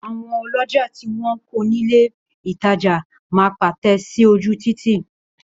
Àwọn ọlọ́jà tí wọn kọ̀ ní ilè ìtajà máa pátẹ̀ sí ojú Títì.